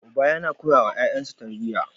Uba yana koyawa yayansa tarbiya.